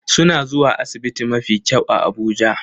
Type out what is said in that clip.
Suna zuwa asibiti mafi kyau a Abuja